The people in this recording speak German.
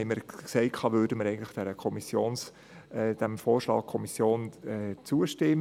Deswegen sagten wir, dass wir dem Kommissionsvorschlag zustimmen.